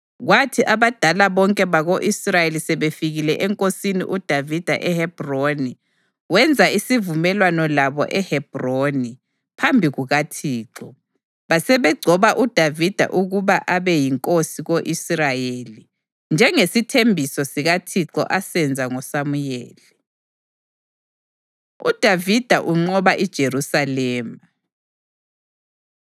Kwathi abadala bonke bako-Israyeli sebefikile enkosini uDavida eHebhroni, wenza isivumelwano labo eHebhroni phambi kukaThixo, basebegcoba uDavida ukuba abe yinkosi ko-Israyeli, njengesithembiso sikaThixo asenza ngoSamuyeli. UDavida Unqoba IJerusalema